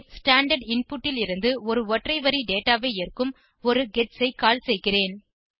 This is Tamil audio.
பின் ஸ்டாண்டார்ட் இன்புட் லிருந்து ஒரு ஒற்றை வரி டேட்டா ஐ ஏற்கும் ஒரு கெட்ஸ் ஐ கால் செய்கிறேன்